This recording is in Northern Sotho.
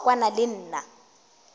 se wa kwana le nna